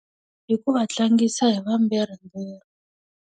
Hi ku va tlangisa hi vambirhi .